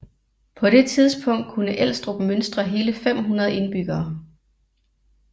På det tidspunkt kunne Elstrup mønstre hele 500 indbyggere